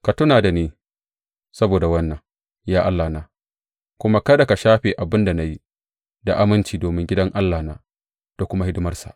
Ka tuna da ni saboda wannan, ya Allahna, kuma kada ka shafe abin da na yi da aminci domin gidan Allahna da kuma hidimarsa.